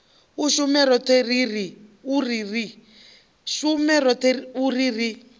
shume roṱhe u ri ri